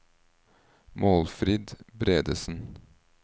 Målfrid Bredesen